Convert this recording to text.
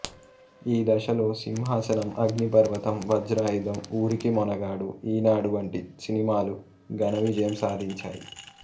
ఈ దశలో సింహాసనం అగ్నిపర్వతం వజ్రాయుధం ఊరికి మొనగాడు ఈనాడు వంటి సినిమాలు ఘన విజయం సాధించాయి